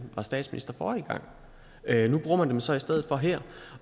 var statsminister forrige gang nu bruger man dem så i stedet for her